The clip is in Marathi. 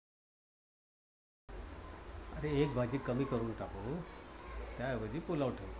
अरे एक भाजी कमी करून टाकू. त्याऐवजी पुलाव ठेवू.